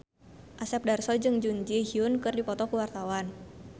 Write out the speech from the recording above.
Asep Darso jeung Jun Ji Hyun keur dipoto ku wartawan